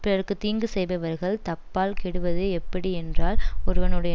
பிறர்க்கு தீங்கு செய்பவர்கள் தப்பால் கெடுவது எப்படியென்றால் ஒருவனுடைய